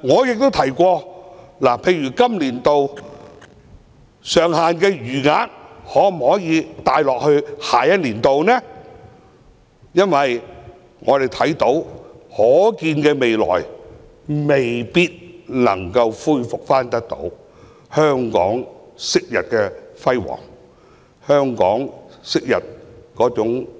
我亦提出把今年度上限的餘額帶到下年度，因為在可見的未來，香港未必能夠恢復昔日的輝煌或